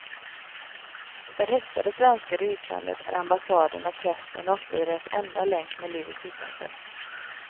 För häktade svenskar i utlandet är ambassaden och prästen ofta deras enda länk med livet utanför.